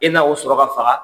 E na o sɔrɔ ka faga.